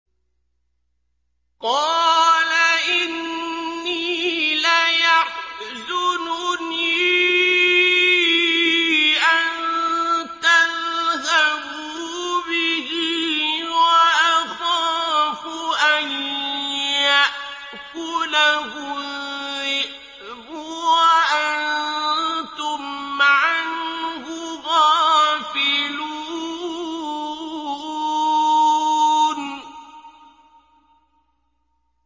قَالَ إِنِّي لَيَحْزُنُنِي أَن تَذْهَبُوا بِهِ وَأَخَافُ أَن يَأْكُلَهُ الذِّئْبُ وَأَنتُمْ عَنْهُ غَافِلُونَ